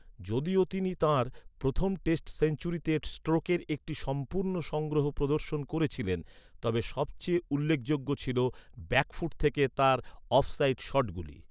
যদিও তিনি তাঁর প্রথম টেস্ট সেঞ্চুরিতে স্ট্রোকের একটি সম্পূর্ণ সংগ্রহ প্রদর্শন করেছিলেন, তবে সবচেয়ে উল্লেখযোগ্য ছিল ব্যাকফুট থেকে তাঁর অফ সাইড শটগুলি।